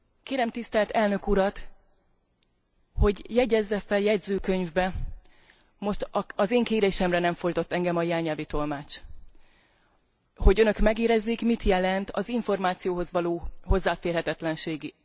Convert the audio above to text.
Kérem a tisztelt elnök urat, hogy jegyezze fel a jegyzőkönyvbe, most az én kérésemre nem fordított engem a jelnyelvi tolmács, hogy Önök megérezzék, mit jelent az információhoz való hozzáférhetetlenség.